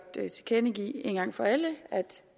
tilkendegive en gang for alle at